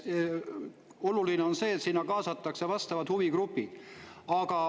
Oluline on, et kaasatakse vastavad huvigrupid.